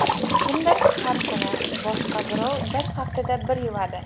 Kimdir har kuni, boshqa birov bir haftada bir yuvadi.